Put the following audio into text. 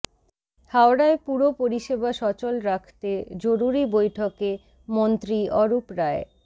হাওড়ায় পুর পরিষেবা সচল রাখতে জরুরি বৈঠকে মন্ত্রী অরূপ রায়